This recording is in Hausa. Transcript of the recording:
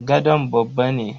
gadon babba ne.